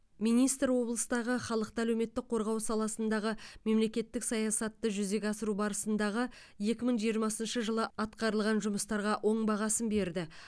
министр облыстағы халықты әлеуметтік қорғау саласындағы мемлекеттік саясатты жүзеге асыру барысындағы екі мың жиырмасыншы жылы атқарылған жұмыстарға оң бағасын берді